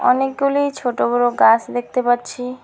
অনেকগুলি ছোট বড় গাছ দেখতে পাচ্ছি।